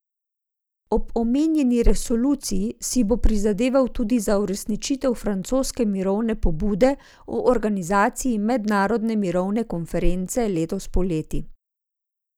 Ob omenjeni resoluciji si bo prizadeval tudi za uresničitev francoske mirovne pobude o organizaciji mednarodne mirovne konference letos poleti.